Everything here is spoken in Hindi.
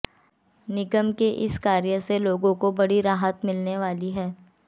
निगम के इस कार्य से लोगों को बड़ी राहत मिलने वाली है